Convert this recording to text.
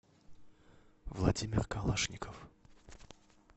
владимир калашников